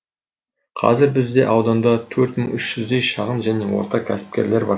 қазір бізде ауданда төрт мың үш жүздей шағын және орта кәсіпкерлер бар